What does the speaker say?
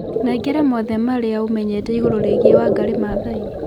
nengera mothe maria ũmenyete igũrũ rĩigĩe Wangari maathai